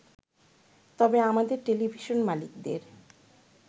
তবে আমাদের টেলিভিশন মালিকদের